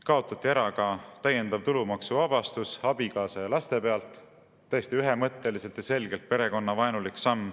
Kaotati ära ka täiendav tulumaksuvabastus abikaasa ja laste pealt – täiesti ühemõtteliselt ja selgelt perekonnavaenulik samm.